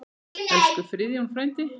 Elsku Friðjón frændi.